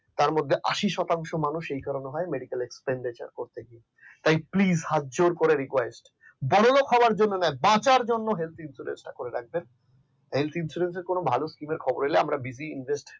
তার মধ্যে আশি শতাংশ মানুষ সেই কারণে হয় medical expenditure করতে গিয়ে তাই please হাত জোড় করে request বড়লোক হওয়ার জন্য না বাঁচার জন্য helth insurance টা করে রাখবেন helth insurance কোন ভালো scheme খবর হলে আমরা bizy invest